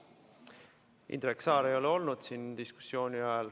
Indrek Saar ei ole olnud siin kogu diskussiooni aja.